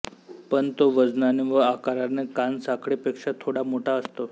पण तो वजनाने व आकारने कानसाखळी पेक्षा थोडा मोठा असतो